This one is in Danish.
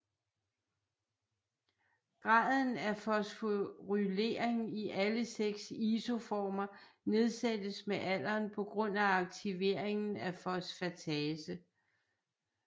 Graden af fosforylering i alle seks isoformer nedsættes med alderen på grund af aktiveringen af fosfatase